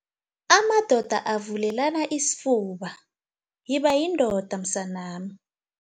Amadoda Avulelana Isifuba, Yiba Yindoda Msanami